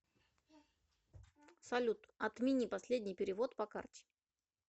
салют отмени последний перевод по карте